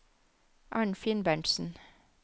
Arnfinn Berntsen